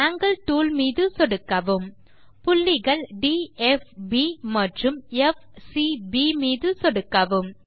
angle tool மீது சொடுக்கவும் புள்ளிகள் ட் ப் ப் மற்றும் ப் சி ப் மீது சொடுக்கவும்